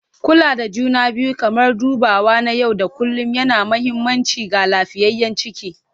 Kula da juna biyu kamar dubawa na yau da kullun yana da mahimmanci ga lafiyayyen ciki.